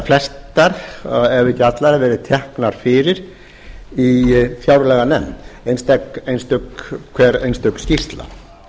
flestar ef ekki allar verið teknar fyrir í fjárlaganefnd hver einstök skýrsla